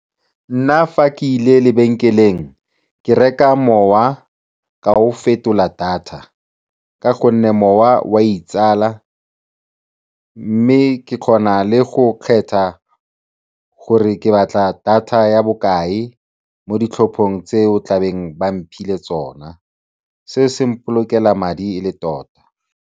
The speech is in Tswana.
Nna fa ke ile lebenkeleng, ke reka mowa ka o fetola data ka gonne mowa o a itsala mme ke kgona le go kgetha gore ke batla data ya bokae mo ditlhophong tse o tla beng ba mphile tsona, se se mpolokela madi e le tota.